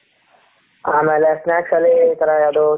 ಆಮೇಲೆ snacks ಅಲ್ಲಿ ಇ ತರ ಯಾವದು